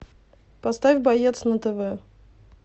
поставь боец на тв